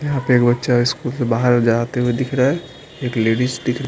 यहाँ पे एक बच्चा स्कूल के बाहर जाते हुए दिख रहा है एक लेडीज दिख --